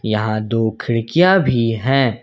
यहां दो खिड़कियां भी हैं।